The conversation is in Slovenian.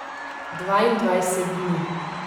Dvaindvajset dni.